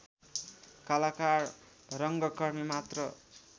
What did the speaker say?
कलाकार रङ्गकर्मी मात्र